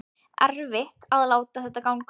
Erfitt að láta þetta ganga upp